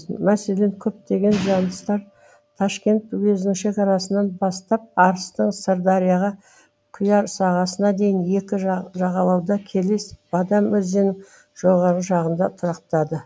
мәселен көптеген жаныстар ташкент уезінің шекарасынан бастап арыстың сырдарияға құяр сағасына дейін екі жағалауда келес бадам өзенінің жоғарғы жағында тұрақтады